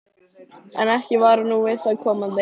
En ekki var nú við það komandi.